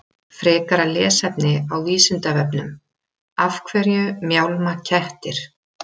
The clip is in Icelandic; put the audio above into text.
Frekara lesefni á Vísindavefnum Af hverju mjálma kettir?